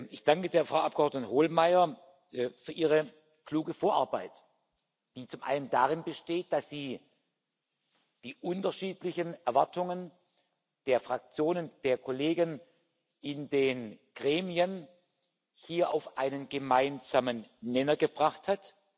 Ich danke der Frau Abgeordneten Hohlmeier für ihre kluge Vorarbeit, die zum einen darin besteht, dass sie die unterschiedlichen Erwartungen der Fraktionen, der Kollegen in den Gremien hier auf einen gemeinsamen Nenner gebracht hat.